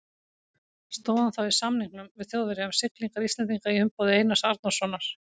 Stóð hann þá í samningum við Þjóðverja um siglingar Íslendinga í umboði Einars Arnórssonar.